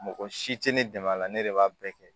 Mɔgɔ si tɛ ne dɛmɛ a la ne de b'a bɛɛ kɛ